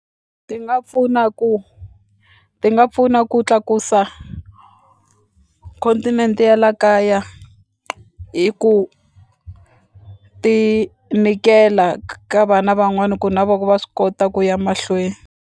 Ti nga pfuna ku ti nga pfuna ku tlakusa continent ya la kaya hi ku ti nyikela ka vana van'wani ku na voho va swi kota ku ya mahlweni.